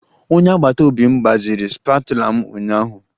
Onye agbata obi m gbaziri spatula m ụnyaahụ